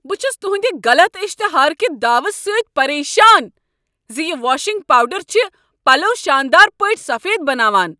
بہٕ چھس تہندِ غلط اشتہار کہ دعوٕ سۭتۍ پریشان ز یِہ واشنگ پاوڈر چھ پلو شاندار پٲٹھۍ سفید بناوان۔